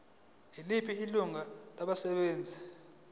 yiliphi ilungu labasebenzi